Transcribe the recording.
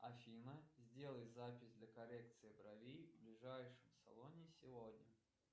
афина сделай запись для коррекции бровей в ближайшем салоне сегодня